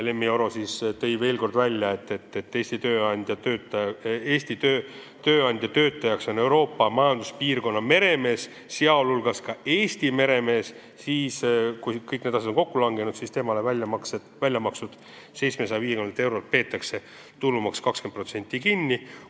Lemmi Oro tõi veel kord välja, et kui Eesti tööandja töötajaks on Euroopa Majanduspiirkonna meremees, sh ka Eesti meremees – kui kõik need asjad on kokku langenud –, siis temale väljamakstud 750 eurolt peetakse kinni 20% tulumaksu.